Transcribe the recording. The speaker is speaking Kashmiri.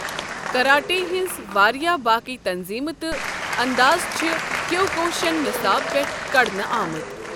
کراٹے ہنٛز واریاہ باقی تنظیمہٕ تہٕ انداز چھِ کیوکوشین نِصاب پٮ۪ٹھ کڑنہٕ أمٕت۔